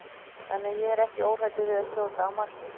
Þannig að ég er óhræddur við að skjóta á markið.